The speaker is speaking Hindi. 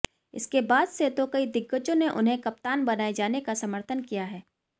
इसके बाद से तो कई दिग्गजों ने उन्हें कप्तान बनाए जाने का समर्थन किया है